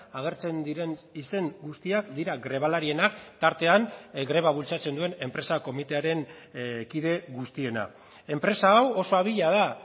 agertzen diren izen guztiak dira grebalarienak tartean greba bultzatzen duen enpresa komitearen kide guztiena enpresa hau oso abila da